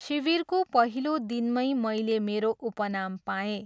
शिविरको पहिलो दिनमै मैले मेरो उपनाम पाएँ।